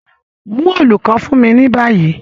Mu òòlù kan fun mi ni bayi